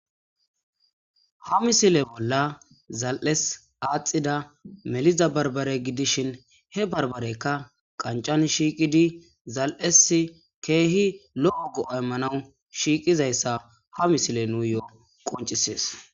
Ha misile bolla zal7es aaxida meliza barbare gidishin he barbareykka qancan shiiqidi zal7es keehi lo7o go aymmanawu shiiqizayssa ha misile nuuyo7o qoncisees